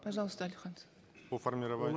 пожалуйста алихан по формированию